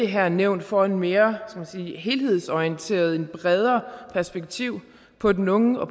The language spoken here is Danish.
her nævn får et mere helhedsorienteret og bredere perspektiv på den unge og